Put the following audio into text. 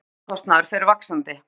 Annar launakostnaður fer vaxandi